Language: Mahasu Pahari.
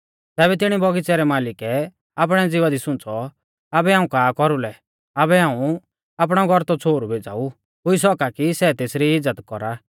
तैबै तिणी बगीच़ै रै मालिकै आपणै ज़िवा दी सुंच़ौ आबै हाऊं का कौरुलै आबै हाऊं आपणौ गौरतौ छ़ोहरु भेज़ाऊ हुई सौका कि सै तेसरी इज़्ज़त कौरा